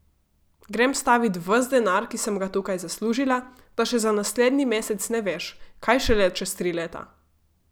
Grem stavit ves denar, ki sem ga tukaj zaslužila, da še za naslednji mesec ne veš, kaj šele čez tri leta.